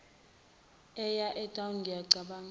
eye etown ngiyacabanga